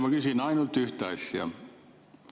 Ma küsin ainult ühte asja.